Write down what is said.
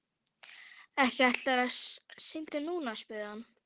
Ekki ætlarðu að synda núna? spurði hann.